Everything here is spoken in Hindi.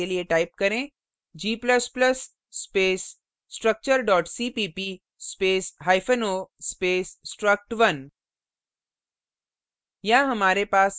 कंपाइल करने के लिए type करें g ++ space structure cpp space hyphen o space struct1